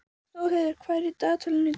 Þórheiður, hvað er í dagatalinu í dag?